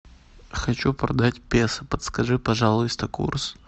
хочу продать песо подскажи пожалуйста курс